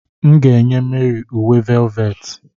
M ga-enye Mary uwe velveti.